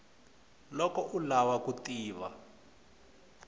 loko u lava ku tiva